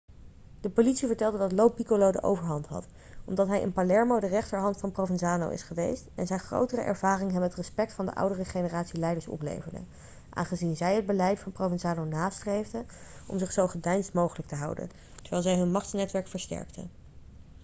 de politie vertelde dat lo piccolo de overhand had omdat hij in palermo de rechterhand van provenzano is geweest en zijn grotere ervaring hem het respect van de oudere generatie leiders opleverde aangezien zij het beleid van provenzano nastreefden om zich zo gedeisd mogelijk te houden terwijl zij hun machtsnetwerk versterkten